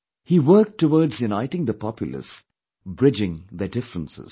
He worked towards uniting the populace, bridging their differences